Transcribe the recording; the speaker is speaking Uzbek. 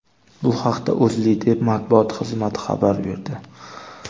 Bu haqda O‘zLiDeP matbuot xizmati xabar berdi .